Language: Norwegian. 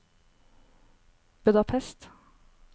Budapest